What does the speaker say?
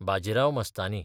Bajirao Mastani